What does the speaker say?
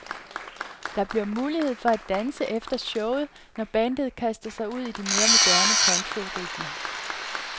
Der bliver mulighed for at danse efter showet, når bandet kaster sig ud i de mere moderne countryrytmer.